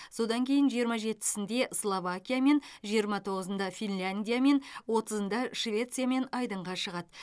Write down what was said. содан кейін жиырма жетісінде словакиямен жиырма тоғызында финляндиямен отызында швециямен айдынға шығады